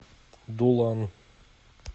дулан